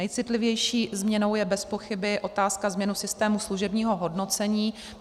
Nejcitlivější změnou je bezpochyby otázka změn v systému služebního hodnocení.